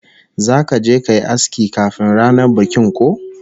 Zaka je kayi aski kafin ranar bikin ko?